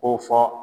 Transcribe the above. Ko fɔ